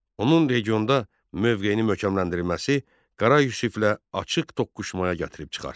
Onun regionda mövqeyinin möhkəmləndirilməsi Qara Yusiflə açıq toqquşmaya gətirib çıxartdı.